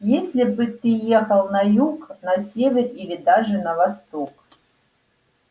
если бы ты ехал на юг на север или даже на восток